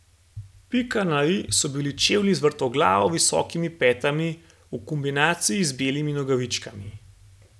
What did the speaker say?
Pika na i so bili čevlji z vrtoglavo visokimi petami v kombinaciji z belimi nogavičkami.